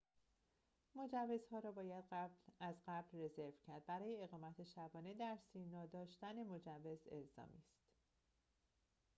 مجوزها را باید از قبل رزرو کرد برای اقامت شبانه در سیرنا داشتن مجوز الزامی است